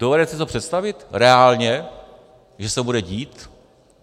Dovedete si to představit reálně, že se to bude dít?